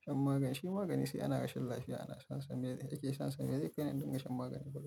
shan magani. Shi magani sai ana rashin lafiya ana shansa. Me zai-- ake shansa. Me zai kai ni don in shan magani kullum?